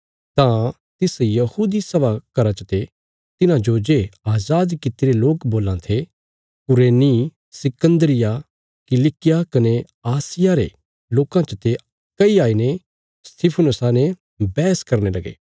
तां तिस यहूदी सभा घरा चते तिन्हांजो जे अजाद कित्तिरे लोक बोलां थे कुरेनी सिकन्दरिया किलिकिया कने आसिया रे लोकां चते कई आईने स्तिफनुसा ने बैहस करने लगे